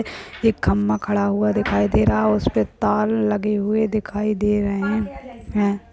एक खम्बा खड़ा हुआ दिखाई दे रहा और उसपे तार लगे हुए दिखाई दे रहे हैं।